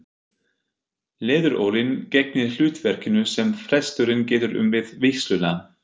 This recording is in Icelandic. Leðurólin gegnir hlutverkinu sem presturinn getur um við vígsluna.